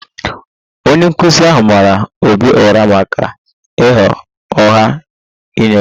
Onye nkụzi ahụ mara Obi ụra maka ịgha ụgha nye ya